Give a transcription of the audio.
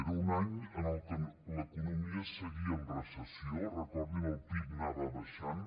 era un any en el que l’economia seguia en recessió recordin que el pib anava baixant